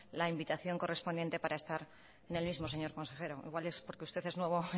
la invitación correspondiente para estar en el mismo señor consejero igual es porque usted es nuevo